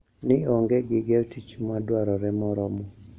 Ni onge gige tich madwarore moromo